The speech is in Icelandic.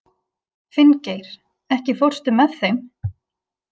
Finngeir, ekki fórstu með þeim?